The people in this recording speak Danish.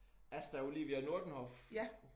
Asta Olivia Nordenhof